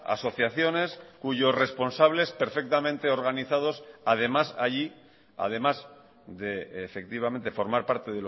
asociaciones cuyos responsables perfectamente organizados además allí además de efectivamente formar parte